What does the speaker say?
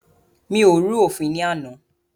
Mi ò rú òfin ní àná.